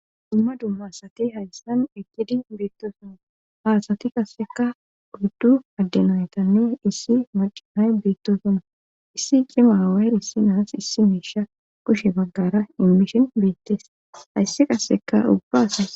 Dumma dumma asati hayssan egidi beettosuma haasati qasseka guyddu addenaetanne issi macihay beettosuma issi cima aawaay issinaas issi meesha kushe baggara imishin beettes hayssi qasseka ubba asas